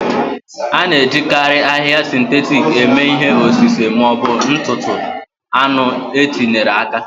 A na-ejikarị ahịhịa sịntetik eme ihe osise ma ọ bụ ntụtụ anụ e tinyere aka.